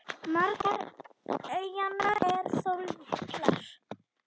Margar eyjanna eru þó litlar.